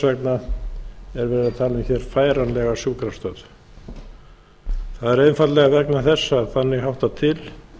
hér færanlega sjúkrastöð það er einfaldlega vegna þess að þannig háttar til